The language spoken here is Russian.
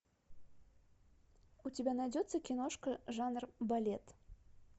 у тебя найдется киношка жанр балет